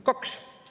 Kaks!